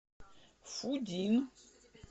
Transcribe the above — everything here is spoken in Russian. фудин